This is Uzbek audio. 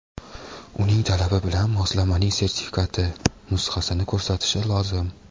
uning talabi bilan moslamaning sertifikati (nusxasi)ni ko‘rsatishi lozim.